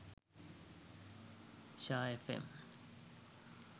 shaa fm